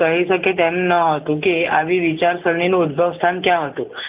કહી શકે કે અન્ન ન હતું કે આવી વિચારસરણી નું ઉદ્ભવ સ્થાન ક્યાં હતું